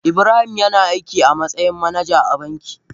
Ibrahim yana aiki a matsayin managa a banki.